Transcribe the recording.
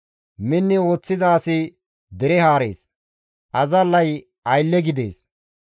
Minni ooththiza asi dere haarees; azallay aylle gidees.